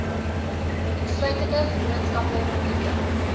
insluitende vennootskappe publieke